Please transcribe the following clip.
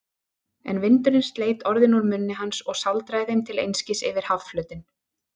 En vindurinn sleit orðin úr munni hans og sáldraði þeim til einskis yfir hafflötinn.